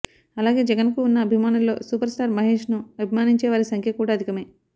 అలాగే జగన్ కు ఉన్న అభిమానుల్లో సూపర్ స్టార్ మహేష్ ను అభిమానించే వారి సంఖ్య కూడా అధికమే